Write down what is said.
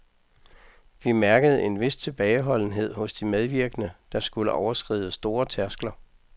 Vi mærkede en vis tilbageholdenhed hos de medvirkende, der skulle overskride store tærskler.